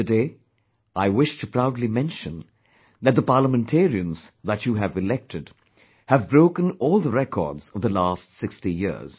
Today, I wish to proudly mention, that the parliamentarians that you have elected have broken all the records of the last 60 years